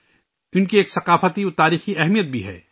ان کی ثقافتی اور تاریخی اہمیت بھی ہے